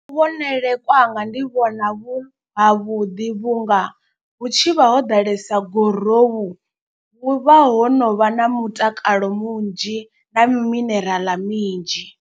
Vhonele kwanga ndi vhona vhu havhuḓi vhunga hu tshivha ho ḓalesa gurowu. Vhu vha ho no vha na mutakalo munzhi na mineraḽa minzhi.